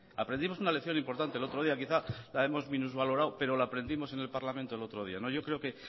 aprendimos una lección importante el otro día quizá la hemos minusvalorado pero la aprendimos en el parlamento el otro día yo creo que